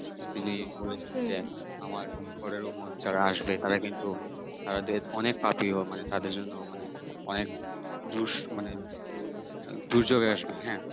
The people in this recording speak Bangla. তিনি বলেছিলেন যে আমার পরের যারা আসবে তারা কিন্তু তারা অনেক পাপি হবে মানে তাদের জন্য মানে অনেক দুস মানে দুর্যোক আসবে হ্যাঁ